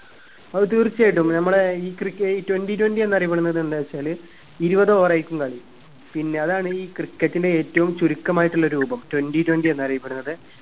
ആ തീർച്ചയായിട്ടും നമ്മളെ ഈ cricket twenty twenty എന്നറിയപ്പെടുന്നത് എന്താ വെച്ചാല് ഇരുപത് over ആയിരിക്കും കളി പിന്നെ അതാണീ cricket ന്റെ ഏറ്റവും ചുരുക്കമായിട്ടുള്ള രൂപം twenty twenty എന്നറിയപ്പെടുന്നത്